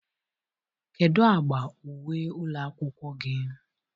kedu agba uwe ụlọ akwụkwọ gị?